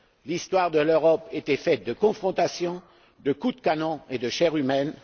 L'histoire de l'Europe a été faite de confrontations, de coups de canon et de chair humaine